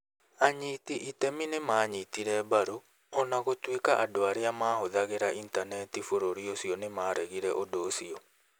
Anyiti itemii nĩ maanyitire mbaru, o na gũtuĩka andũ arĩa mahũthagĩra Intaneti bũrũri ũcio nĩ maaregire ũndũ ũcio.